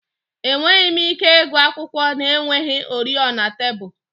Enweghị m ike ịgụ akwụkwọ na-enweghị oriọna tebụl